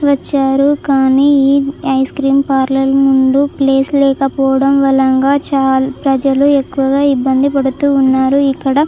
వచ్చారు కానీ ice cream parlour ముందు ప్లేస్ లేకపోవడం వలన ప్రజలు ఎక్కువగా ఇబ్బంది పడుతున్నారు. ఇక్కడ --